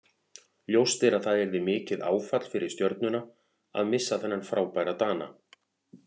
Ljóst er að það yrði mikið áfall fyrir Stjörnuna að missa þennan frábæra Dana.